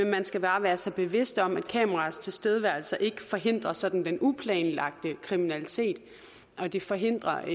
man skal bare være sig bevidst om at kameraers tilstedeværelse ikke forhindrer den sådan uplanlagte kriminalitet og det forhindrer